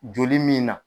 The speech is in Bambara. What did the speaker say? Joli min na